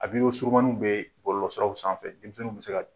A surumaninw bɛ bɔlɔlɔsiraw sanfɛ denmisɛnninw bɛ se ka